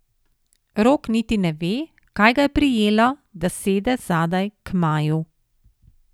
Rok niti ne ve, kaj ga je prijelo, da sede zadaj, k Maju.